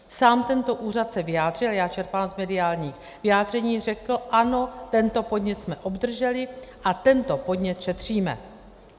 Sám tento úřad se vyjádřil - já čerpám z mediálních vyjádření - řekl ano, tento podnět jsme obdrželi a tento podnět šetříme.